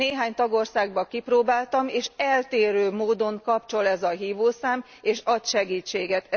Néhány tagországban kipróbáltam, és eltérő módon kapcsol ez a hívószám és ad segítséget.